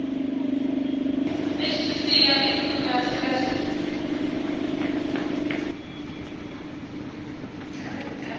buve balelinye live